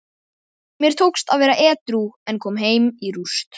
Mér tókst að vera edrú en kom heim í rúst.